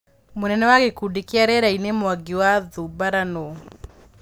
Mũnene wa gĩkundi kĩa rĩerainĩ Mwangi wa Thubara nũũ?